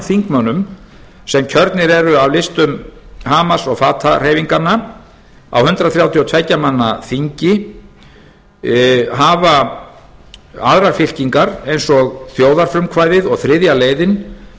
þingmönnum sem kjörnir eru af listum hamas og fatah hreyfinganna á hundrað þrjátíu og tvö ja manna þingi hafa aðrar fylkingar eins og þjóðarfrumkvæði og þriðja leiðin